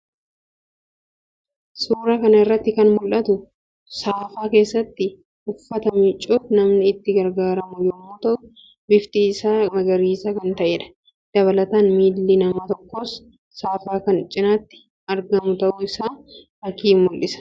Suuraa kana irratti kan mul'atu saafaa keessatti uffata miicuuf namni itti gargaaramu yammuu ta'u; bifti isaas magariisa kan ta'eedha. Dabalataan miilli namaa tokkos saafaa kan cinatti argamu ta'u isaa fakkii mul'isuudha.